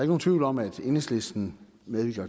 nogen tvivl om at enhedslisten